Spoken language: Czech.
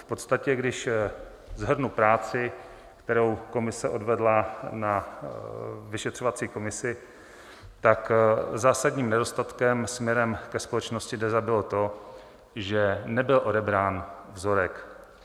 V podstatě když shrnu práci, kterou komise odvedla na vyšetřovací komisi, tak zásadním nedostatkem směrem ke společnosti DEZA bylo to, že nebyl odebrán vzorek.